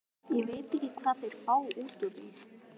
Ég veit ekki hvað þeir fá út úr því.